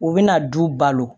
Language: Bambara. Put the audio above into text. U bɛna du balo